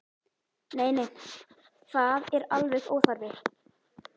Nei, nei, það er alveg óþarfi.